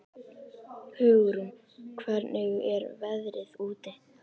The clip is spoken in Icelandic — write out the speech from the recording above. Hugrún, hvernig er veðrið úti?